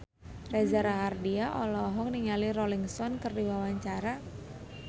Reza Rahardian olohok ningali Rolling Stone keur diwawancara